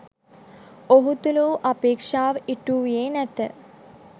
ඔහු තුළ වූ අපේක්ෂාව ඉටු වූයේ නැත